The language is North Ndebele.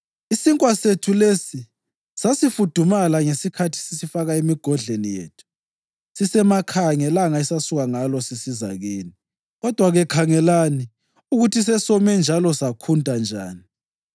Isinkwa sethu lesi sasifudumala ngesikhathi sisifaka emigodleni yethu sisesemakhaya ngelanga esasuka ngalo sisiza kini. Kodwa-ke khangelani ukuthi sesome njalo sakhunta njani.